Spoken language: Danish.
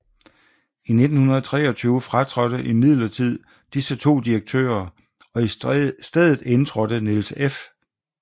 I 1923 fratrådte imidlertid disse 2 direktører og i stedet indtrådte Niels F